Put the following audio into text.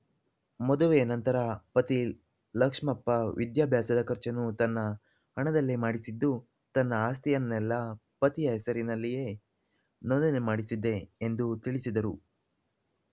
ಮದುವೆ ನಂತರ ಪತಿ ಲಕ್ಷ್ಮಪ್ಪ ವಿದ್ಯಾಭ್ಯಾಸದ ಖರ್ಚನ್ನು ತನ್ನ ಹಣದಲ್ಲೇ ಮಾಡಿಸಿದ್ದು ತನ್ನ ಆಸ್ತಿಯನ್ನೆಲ್ಲಾ ಪತಿಯ ಹೆಸರಿನಲ್ಲಿಯೇ ನೋಂದಣಿ ಮಾಡಿಸಿದ್ದೆ ಎಂದು ತಿಳಿಸಿದರು